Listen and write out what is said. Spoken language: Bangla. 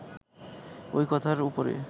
ওই কথার ওপরে